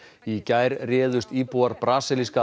í gær réðust íbúar brasilíska